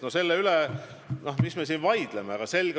No mis me siin selle üle vaidleme!